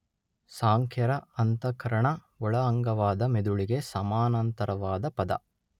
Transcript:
ಸಾಂಖ್ಯರ ಅಂತಃಕರಣ ಒಳ ಅಂಗವಾದ ಮಿದುಳಿಗೆ ಸಮಾನಾಂತರವಾದ ಪದ.